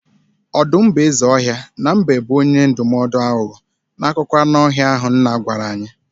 Ọdụm bụ eze ọhịa na mbe bụ onye ndụmọdụ aghụghọ n'akụkọ anụ ọhịa ahụ nna gwara anyị.